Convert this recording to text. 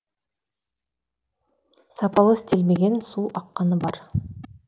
сапалы істелмеген су аққаны бар